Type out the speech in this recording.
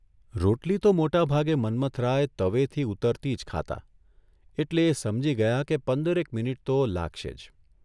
રોટલી તો મોટાભાગે મન્મથરાય તવેથી ઊતરતી જ ખાતા એટલે એ સમજી ગયા કે પંદરેક મિનિટ તો લાગશે જ.